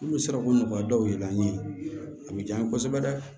N'u sera k'o nɔgɔya dɔw ye an ye a bɛ diyan kosɛbɛ dɛ